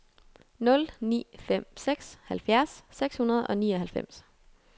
nul ni fem seks halvfjerds seks hundrede og nioghalvfems